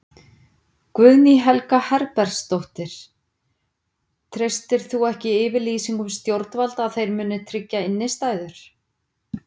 Guðný Helga Herbertsdóttir: Treystir þú ekki yfirlýsingum stjórnvalda að þeir muni tryggja innistæður?